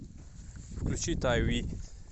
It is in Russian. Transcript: включи тай ви